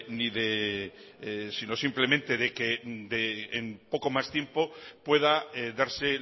ni de si no simplemente de que en poco más tiempo pueda darse